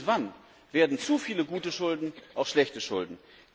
Nur irgendwann werden zu viele gute Schulden auch zu schlechten Schulden.